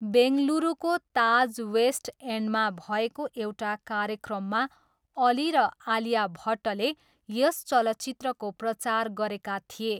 बेङ्गलुरुको Taj West एन्डमा भएको एउटा कार्यक्रममा अली र आलिया भट्टले यस चलचित्रको प्रचार गरेका थिए।